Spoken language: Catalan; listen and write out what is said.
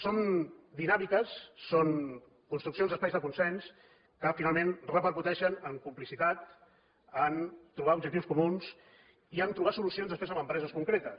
són dinàmiques són construccions d’espais de consens que finalment repercuteixen en complicitat en trobar objectius comuns i en trobar solucions després en empreses concretes